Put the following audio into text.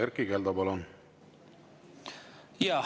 Erkki Keldo, palun!